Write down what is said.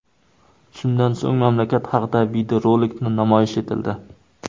Shundan so‘ng mamlakat haqida videorolik namoyish etildi.